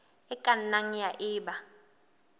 e ka nnang ya eba